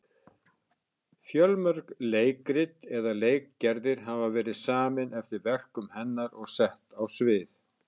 Fjölmörg leikrit eða leikgerðir hafa verið samin eftir verkum hennar og sett á svið.